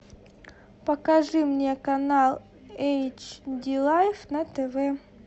покажи мне канал эйч ди лайф на тв